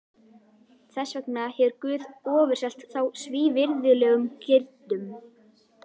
Þess vegna hefur Guð ofurselt þá svívirðilegum girndum.